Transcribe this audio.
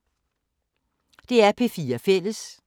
DR P4 Fælles